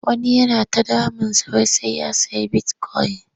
Wani yana ta damunsa wai sai ya sayi bitikoyin.